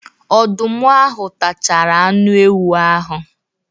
Ọdụm ahụ tachara anụ ewu ahụ.